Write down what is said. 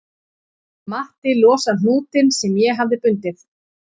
Matti losar hnútinn sem ég hafði bundið